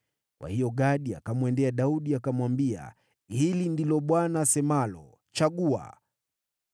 Kwa hiyo Gadi akamwendea Daudi akamwambia, “Hili ndilo Bwana asemalo: ‘Chagua: